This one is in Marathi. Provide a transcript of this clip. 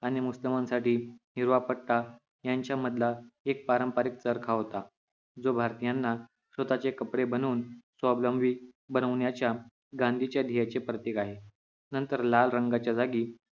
आणि मुसलमानांसाठी हिरवा पट्टा यांच्या मधला एक पारंपरिक एक चरखा होता जो भारतीयांना स्वतःचे कपडे बनवून स्वावलंबी बनवण्याच्या गांधीचर्येचे प्रतीक आहे नंतर लाल रंगाच्या जागी